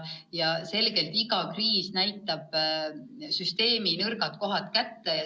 Ilmselgelt iga kriis näitab süsteemi nõrgad kohad kätte.